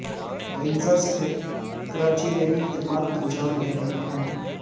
rangers Karachi میں بھی خدمات انجام دے رہے ہیں